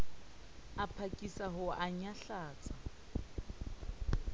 a phakisa ho o nyahlatsa